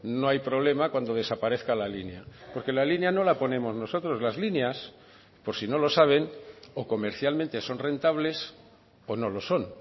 no hay problema cuando desaparezca la línea porque la línea no la ponemos nosotros las líneas por si no lo saben o comercialmente son rentables o no lo son